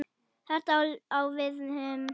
Þetta á við um